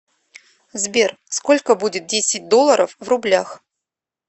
сбер сколько будет десять долларов в рублях